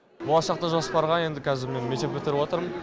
болашақта жоспарға енді қазір мен мектеп бітіріп атырмын